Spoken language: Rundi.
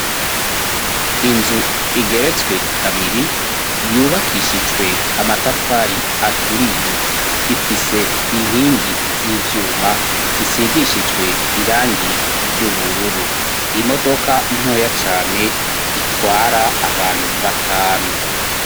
Inzu igeretswe kabiri, yubakishijwe amatafari aturiye, ifise inkingi z'ivyuma zisigishijwe irangi ry'ubururu, imodoka ntoya cane itwara abantu batanu.